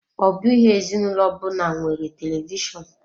Ọ bụghị ezinụlọ ọbụna nwere televishonu.